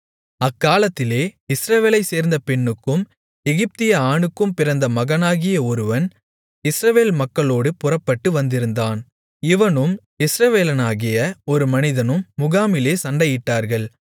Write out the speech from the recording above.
அக்காலத்திலே இஸ்ரவேலைச் சார்ந்த பெண்ணுக்கும் எகிப்திய ஆணுக்கும் பிறந்த மகனாகிய ஒருவன் இஸ்ரவேல் மக்களோடு புறப்பட்டு வந்திருந்தான் இவனும் இஸ்ரவேலனாகிய ஒரு மனிதனும் முகாமிலே சண்டையிட்டார்கள்